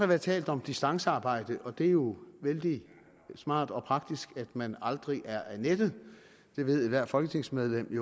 været talt om distancearbejde der er det jo vældig smart og praktisk at man aldrig er af nettet ethvert folketingsmedlem ved